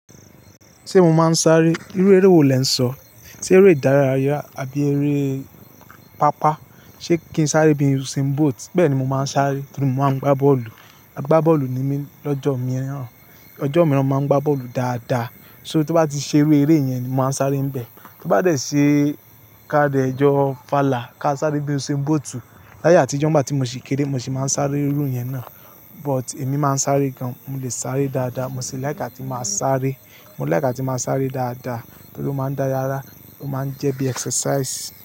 Ṣé mo máa ń sáré? Irú eré wo lè ń sọ? Ṣé eré ìdárayá àbí eré pápá? Ṣé kí n sáré bí i uzain boat? Bẹ́ẹ̀ ni mo máa ń sáré torí mo máa ń gbá bọ́ọ̀lù. Agbá bọ́ọ̀lù ni mí lọ́jọ́ mìíràn. Ọjọ́ mìíràn, mo máa ń gbá bọ́ọ̀lù dáadáa. Ṣó tó bá ti ṣe iru eré yẹn, mo máa ń sáré níbẹ̀. To bá dẹ̀ ṣe káà de jọ́ fàlà, ká sáré bí i uzain boat. Àtijọ́ n gbà tí mo sì kéré, mo sì máa ń sáré irú yẹn náà. But èmi máa ń sáré gan. Mo lè sáré dáadáa. Mo sì láìká atí máa sáré. Mo láìká atí máa sáré dáadáa torí ó máa ń dá yara, ó máa ń jẹ́ bí i exercise.